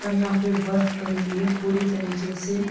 और यहाँ पर बर्फ पड़ी हुई है पूरी तरीके से।